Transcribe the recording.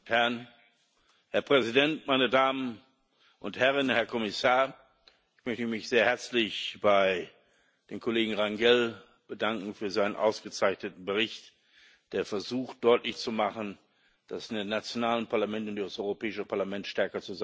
Herr Präsident, Herr Kommissar, meine Damen und Herren! Ich möchte mich sehr herzlich bei dem Kollegen Rangel bedanken für seinen ausgezeichneten Bericht, der versucht, deutlich zu machen, dass die nationalen Parlamente und das Europäische Parlament stärker zusammenarbeiten müssen.